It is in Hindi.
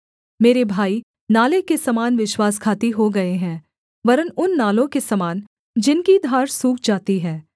मेरे भाई नाले के समान विश्वासघाती हो गए हैं वरन् उन नालों के समान जिनकी धार सूख जाती है